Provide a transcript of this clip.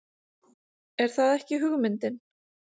Er það ekki hugmyndin?